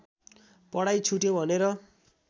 पढाइ छुट्यो भनेर